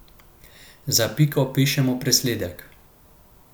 Za piko pišemo presledek.